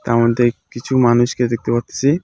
তার মধ্যে কিছু মানুষকে দেখতে পারতাছি .